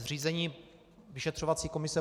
Zřízení vyšetřovací komise